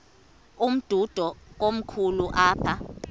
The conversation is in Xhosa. umdudo komkhulu apha